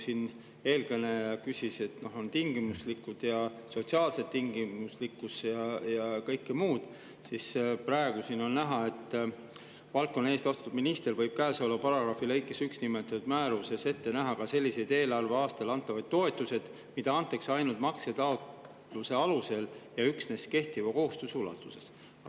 Siin eelkõneleja küsis, et on tingimuslikkus ja sotsiaalne tingimuslikkus ja kõik muu, ning on näha, et valdkonna eest vastutav minister võib käesoleva paragrahvi lõikes 1 nimetatud määruses ette näha ka selliseid eelarveaastal antavaid toetuseid, mida antakse ainult maksetaotluse alusel ja üksnes kehtiva kohustuse ulatuses.